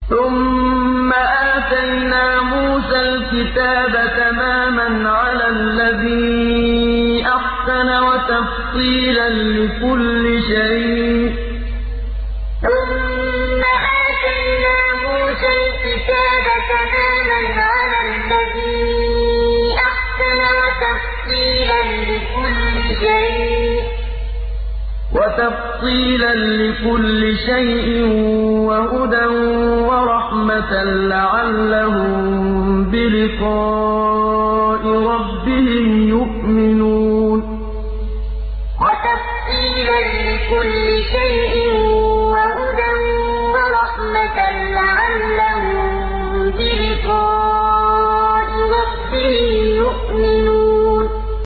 ثُمَّ آتَيْنَا مُوسَى الْكِتَابَ تَمَامًا عَلَى الَّذِي أَحْسَنَ وَتَفْصِيلًا لِّكُلِّ شَيْءٍ وَهُدًى وَرَحْمَةً لَّعَلَّهُم بِلِقَاءِ رَبِّهِمْ يُؤْمِنُونَ ثُمَّ آتَيْنَا مُوسَى الْكِتَابَ تَمَامًا عَلَى الَّذِي أَحْسَنَ وَتَفْصِيلًا لِّكُلِّ شَيْءٍ وَهُدًى وَرَحْمَةً لَّعَلَّهُم بِلِقَاءِ رَبِّهِمْ يُؤْمِنُونَ